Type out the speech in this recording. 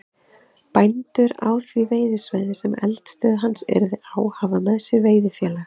Bændur á því veiðisvæði, sem eldisstöð hans yrði á, hafa með sér veiðifélag